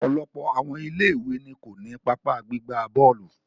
Ọ̀pọ̀lọpọ̀ àwọn ilé ìwé ni ko ni pápá gbigba bọ́ọ̀lù.